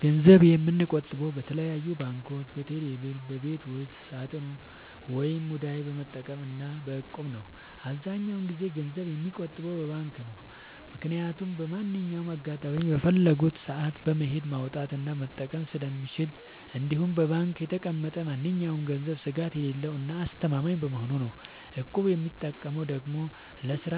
ገንዘብ የምቆጥበው በተለያዩ ባንኮች÷በቴሌ ብር ÷በቤት ውስጥ ሳጥን ወይም ሙዳይ በመጠቀም እና በ እቁብ ነው። አብዛኛውን ጊዜ ገንዘብ የምቆጥበው በባንክ ነው። ምክያቱም በማንኛውም አጋጣሚ በፈለኩት ሰአት በመሄድ ማውጣት እና መጠቀም ስለምችል እንዲሁም በባንክ የተቀመጠ ማንኛውም ገንዘብ ስጋት የሌለው እና አስተማማኝ በመሆኑ ነው። እቁብ የምጠቀመው ደግሞ ለስራ